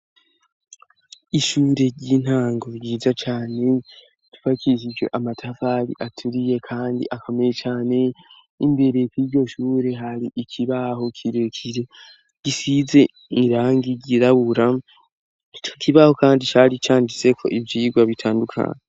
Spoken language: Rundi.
Ishure ry'intango ryiza cane ryubakishijwe amatafari aturiye kandi akomeye cane imbere yiryo shure hari ikibaho kirekire gisize irangi ryirabura ico kibaho kandi cari canditseko ivyigwa bitandukanye.